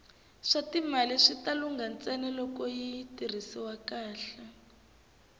swatimali wita lungha ntsena loko yi tirhisiwa kahle